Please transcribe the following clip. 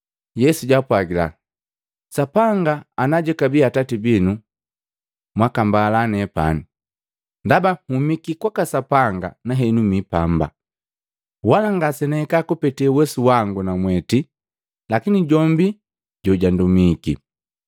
Yesu jaapwagila, “Sapanga ebakabi Atati binu, mwakambala nepani, ndaba humiki kwaka Sapanga na henu mi pamba. Wala ngasenahika kupete uwesu wangu namweti lakini jombi jojundumiki.